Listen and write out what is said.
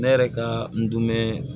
Ne yɛrɛ ka n dun mɛn